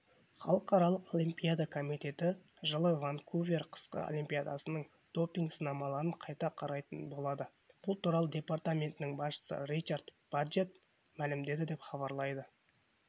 халықаралық олимпиада комитеті жылы ванкувер қысқы олимпиадасының допинг сынамаларын қайта қарайтын болады бұл туралы департаментінің басшысы ричард баджетт мәлімдеді деп хабарлайды